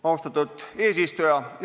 Austatud eesistuja!